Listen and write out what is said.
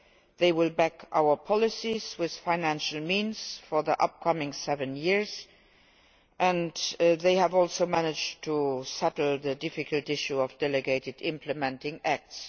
They will back our policies with financial means for the upcoming seven years and they have also managed to settle the difficult issue of delegated and implementing acts.